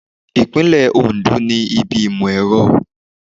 Ìpínlẹ̀ Oǹdó ní ibi ìmọ̀ ẹ̀rọ.